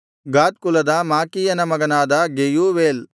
ಗಾದ್ ಕುಲದ ಮಾಕೀಯನ ಮಗನಾದ ಗೆಯೂವೇಲ್